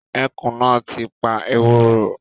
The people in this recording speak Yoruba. Ẹkùn náà ti pa ewúrẹ́